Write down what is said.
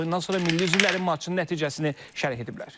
Oyundan sonra milli üzvlərimiz maçın nəticəsini şərh ediblər.